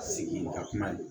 Sigi ka kuma ye